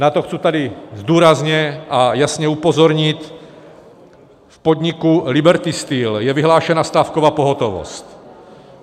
Na to chci tady důrazně a jasně upozornit, v podniku Liberty Steel je vyhlášena stávková pohotovost.